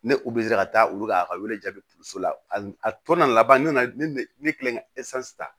Ne u bɛ ka taa olu ka a ka wele so la a tana laban ne na ne kɛlen ka ta